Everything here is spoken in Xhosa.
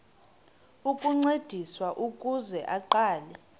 ukuncediswa ukuze aqale